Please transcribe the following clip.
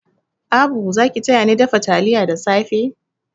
Abu za ki tayani dafa taliya da safe?